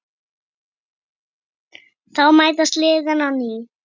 Þá mætast liðin á ný.